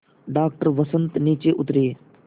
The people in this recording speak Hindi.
डॉक्टर वसंत नीचे उतरे